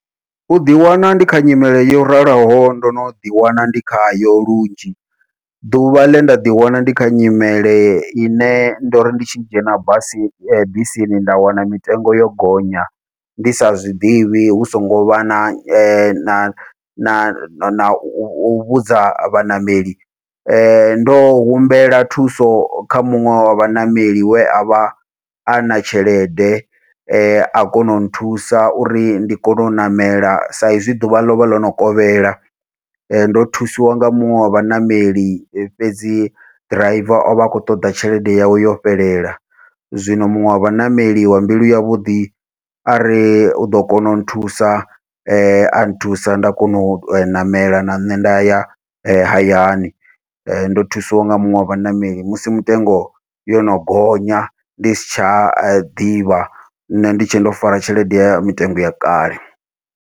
Uḓi wana ndi kha nyimele yo raliho ndo no ḓi wana ndi khayo lunzhi, ḓuvha ḽenda ḓi wana ndi kha nyimele ine ndo ri ndi tshi dzhena basi bisini nda wana mitengo yo gonya ndi sa zwiḓivhi hu songo vha na na na nau vhudza vhaṋameli, ndo humbela thuso kha muṅwe wa vhaṋameli we avha ana tshelede a kona u nthusa uri ndi kone u ṋamela sa izwi ḓuvha lovha ḽono kovhela, ndo thusiwa nga muṅwe wa vhaṋameli fhedzi driver ovha a khou ṱoḓa tshelede yawe yo fhelela. Zwino muṅwe wa vhaṋameli wa mbilu yavhuḓi ari uḓo kona u nthusa a nthusa nda kona u ṋamela na nṋe nda ya hayani, ndo thusiwa nga muṅwe wa vhaṋameli musi mitengo yono gonya ndi si tsha ḓivha nṋe ndi tshe ndo fara tshelede ya mitengo ya kale.